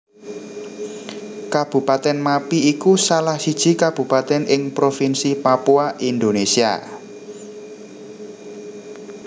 Kabupatèn Mappi iku salah siji kabupatèn ing Provinsi Papua Indonésia